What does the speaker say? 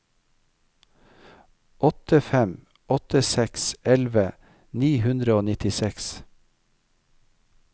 åtte fem åtte seks elleve ni hundre og nittiseks